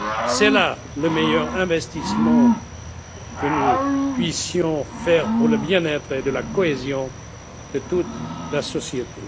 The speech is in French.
C'est là le meilleur investissement que nous puissions faire pour le bien être et la cohésion de toute la société.